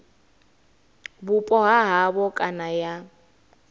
vhupo ha havho kana ya